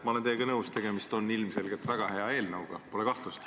Ma olen teiega nõus, tegemist on ilmselgelt väga hea eelnõuga – pole kahtlust.